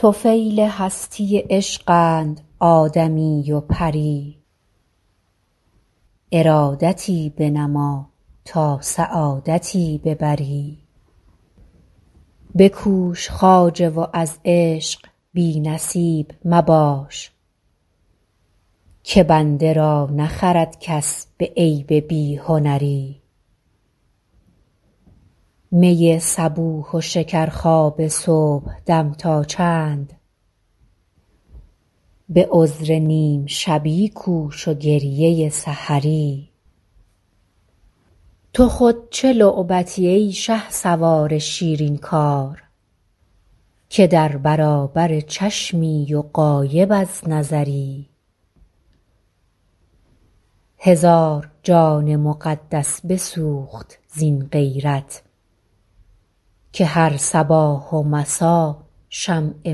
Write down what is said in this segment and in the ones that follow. طفیل هستی عشقند آدمی و پری ارادتی بنما تا سعادتی ببری بکوش خواجه و از عشق بی نصیب مباش که بنده را نخرد کس به عیب بی هنری می صبوح و شکرخواب صبحدم تا چند به عذر نیم شبی کوش و گریه سحری تو خود چه لعبتی ای شهسوار شیرین کار که در برابر چشمی و غایب از نظری هزار جان مقدس بسوخت زین غیرت که هر صباح و مسا شمع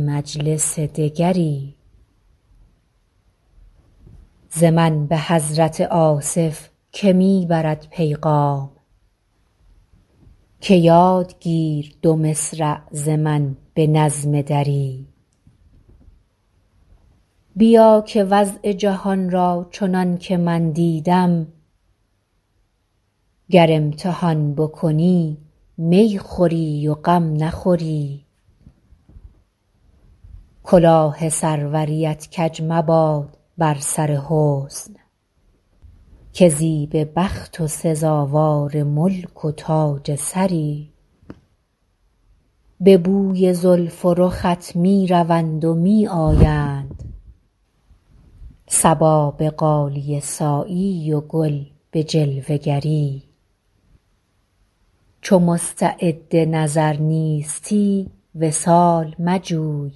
مجلس دگری ز من به حضرت آصف که می برد پیغام که یاد گیر دو مصرع ز من به نظم دری بیا که وضع جهان را چنان که من دیدم گر امتحان بکنی می خوری و غم نخوری کلاه سروریت کج مباد بر سر حسن که زیب بخت و سزاوار ملک و تاج سری به بوی زلف و رخت می روند و می آیند صبا به غالیه سایی و گل به جلوه گری چو مستعد نظر نیستی وصال مجوی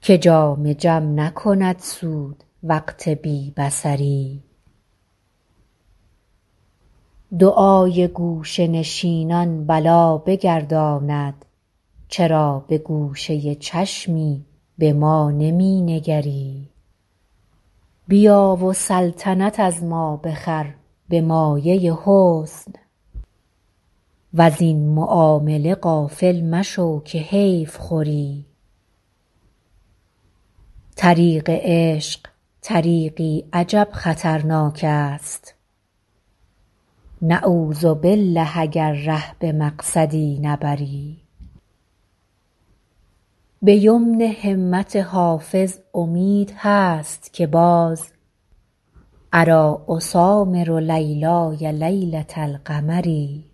که جام جم نکند سود وقت بی بصری دعای گوشه نشینان بلا بگرداند چرا به گوشه چشمی به ما نمی نگری بیا و سلطنت از ما بخر به مایه حسن وزین معامله غافل مشو که حیف خوری طریق عشق طریقی عجب خطرناک است نعوذبالله اگر ره به مقصدی نبری به یمن همت حافظ امید هست که باز اریٰ اسامر لیلای لیلة القمری